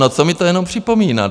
No, co mi to jenom připomíná?